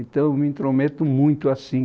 Então, eu me intrometo muito assim.